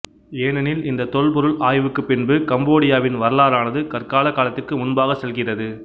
ஏனெனில் இந்த தொல்பொருள் ஆய்வுக்குப் பின்பு கம்போடியாவின் வரலாறானது கற்கால காலத்திற்கு முன்பாகச் செல்கிறது